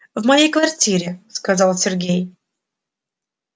в моей квартире сказал сергей